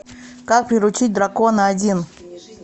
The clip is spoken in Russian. как приручить дракона один